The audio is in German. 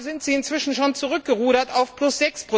Da sind Sie inzwischen schon zurückgerudert auf plus